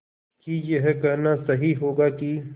कि यह कहना सही होगा कि